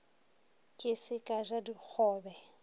ke se ka ja dikgobe